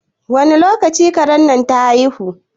Wani lokaci karen nan ta haihu?